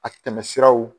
A tɛmɛsiraw